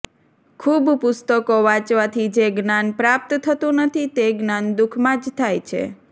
ખૂબ પુસ્તકો વાંચવાથી જે જ્ઞાન પ્રાપ્ત થતું નથી તે જ્ઞાન દુઃખમાં જ થાય છે